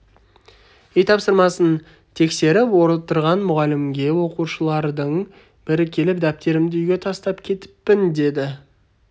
үй тапсырмасын тексеріп отырған мұғалімге оқушылардың бірі келіп дәптерімді үйге тастап кетіппін деді